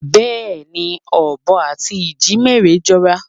Bẹ́ẹ̀ni, ọ̀bọ àti ìjímèrè jọra.